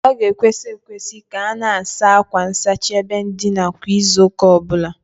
O ga-ekwesi ekwes ika a na-asa akwa nsachi ebe ndina kwa izu uka obula